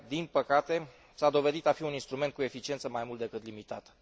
Din păcate, aceasta s a dovedit a fi un instrument cu eficiență mai mult decât limitată.